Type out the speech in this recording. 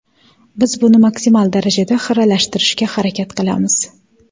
Biz buni maksimal darajada xiralashtirishga harakat qilamiz.